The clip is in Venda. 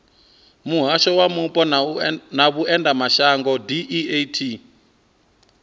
muhasho wa mupo na vhuendelamashango deat